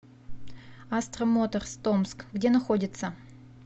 астра моторз томск где находится